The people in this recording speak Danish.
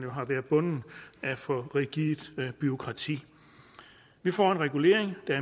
har været bundet af et for rigidt bureaukrati vi får en regulering der